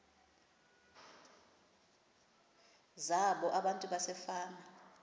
zabo abantu basefama